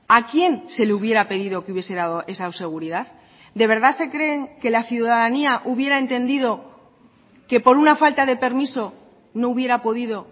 a quién se le hubiera pedido que hubiese dado esa seguridad de verdad se creen que la ciudadanía hubiera entendido que por una falta de permiso no hubiera podido